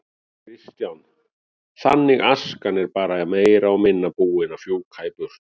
Kristján: Þannig askan er bara meira og minna búin að fjúka í burtu?